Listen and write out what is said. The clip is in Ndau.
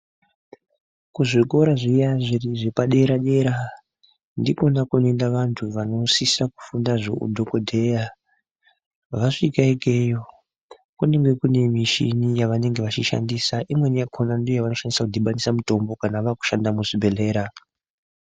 Ku zvikora zviya zvepa dera dera ndikona kuno enda vantu vanosisa kufunda zve udhokodheya vasvika ikweyo kunenge kuine mishini yaano shandisa imweni yakona ndiyo yavanenge vechi shandisa kudhibanisa mutombo kana vava ku shanda mu zvibhedhlera.